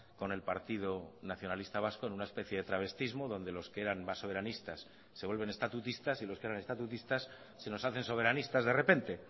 con el partido nacionalista vasco en una especie de travestismo donde los que eran más soberanistas se vuelven estatutistas y los que eran estatutistas se nos hacen soberanistas de repente